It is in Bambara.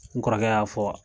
N kɔrɔkɛ y'a fɔ wa.